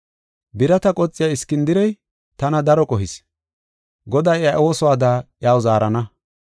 Birata qoxiya Iskindirey tana daro qohis; Goday iya oosuwada iyaw zaarana.